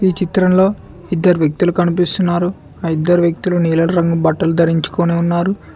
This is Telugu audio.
ఈ చిత్రంలో ఇద్దరు వ్యక్తులు కనిపిస్తున్నారు ఆ ఇద్దరు వ్యక్తులు నీలం రంగు బట్టలు ధరించుకొని ఉన్నారు.